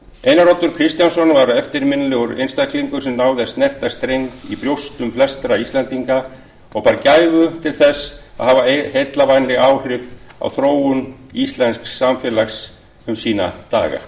einar oddur kristjánsson var eftirminnilegur einstaklingur sem náði að snerta streng í brjóstum flestra íslendinga og bar gæfu til þess að hafa heillavænleg áhrif á þróun íslensks samfélags um sína daga